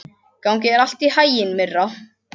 Gangi þér allt í haginn, Myrra.